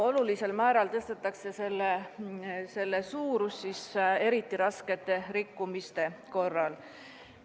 Olulisel määral tõstetakse nende suurust eriti raskete rikkumiste korral.